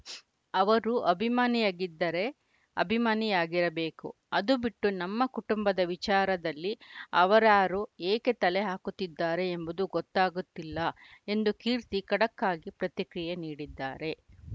ಅವರು ಅಭಿಮಾನಿಯಾಗಿದ್ದರೆ ಅಭಿಮಾನಿಯಾಗಿರಬೇಕು ಅದು ಬಿಟ್ಟು ನಮ್ಮ ಕುಟುಂಬದ ವಿಚಾರದಲ್ಲಿ ಅವರಾರು ಏಕೆ ತಲೆ ಹಾಕುತ್ತಿದ್ದಾರೆ ಎಂಬುದು ಗೊತ್ತಾಗುತ್ತಿಲ್ಲ ಎಂದು ಕೀರ್ತಿ ಖಡಕ್‌ ಆಗಿ ಪ್ರತಿಕ್ರಿಯೆ ನೀಡಿದ್ದಾರೆ